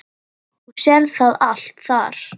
Þú sérð það allt þar.